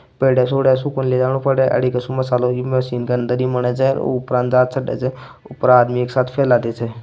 मशीन कने दरी बने--